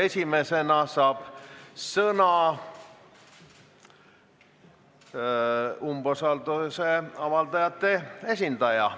Esimesena saab sõna umbusalduse avaldajate esindaja.